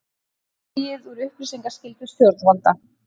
Dregið úr upplýsingaskyldu stjórnvalda